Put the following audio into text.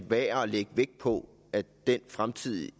værd at lægge vægt på at det fremtidige